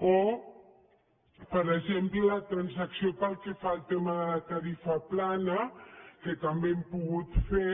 o per exemple la transacció pel que fa al tema de la tarifa plana que també hem pogut fer